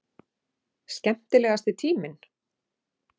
Skemmtilegasti tíminn?